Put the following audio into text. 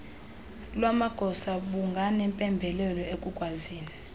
lwamagosa bunganempembelelo ekukwazini